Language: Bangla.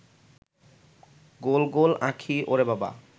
গোল গোল আঁখি ওরে বাবা